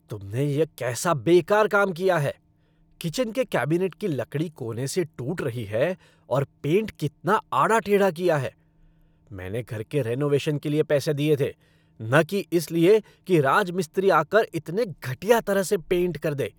तुमने यह कैसा बेकार काम किया है। किचन के कैबिनेट की लकड़ी कोने से टूट रही है और पेंट कितना आड़ा टेढ़ा किया है। मैंने घर के रेनोवेशन के लिए पैसे दिए थे न कि इसलिए कि राजमिस्त्री आकर इतने घटिया तरह से पेंट कर दे!